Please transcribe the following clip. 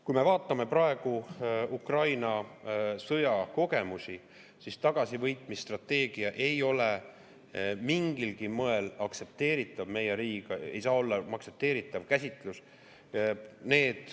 Kui me vaatame praegu Ukraina sõja kogemusi, siis tagasivõitmise strateegia ei ole mingilgi moel aktsepteeritav käsitlus meie riigis.